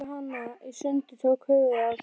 Þeir tóku hana í sundur. tóku höfuðið af þess